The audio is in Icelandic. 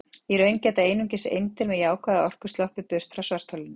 Í raun geta einungis eindir með jákvæða orku sloppið burt frá svartholinu.